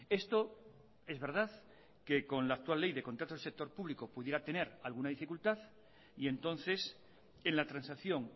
esto es verdad que con la actual ley del contrato del sector público pudiera tener alguna dificultad y entonces en la transacción